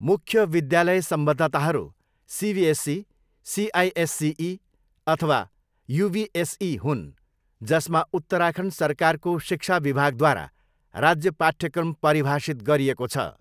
मुख्य विद्यालय सम्बद्धताहरू सिबिएसई, सिआइएससिई अथवा युबिएसई हुन्, जसमा उत्तराखण्ड सरकारको शिक्षा विभागद्वारा राज्य पाठ्यक्रम परिभाषित गरिएको छ।